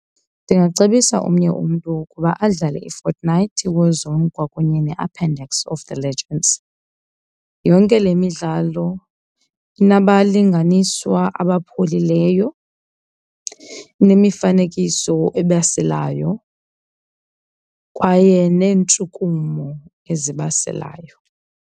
Ndingacebisa omnye umntu ukuba adlale iFortnite War Zone kwakunye neAppendix of the Legends. Yonke le midlalo inabalinganiswa abapholileyo, inemifanekiso ebaselayo kwaye neentshukumo ezibaselayo.